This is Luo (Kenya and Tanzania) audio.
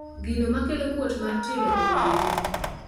Gino makelo kuot mar tielo okong`ere.